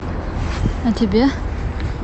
а тебе